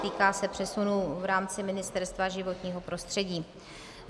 Týká se přesunu v rámci Ministerstva životního prostředí.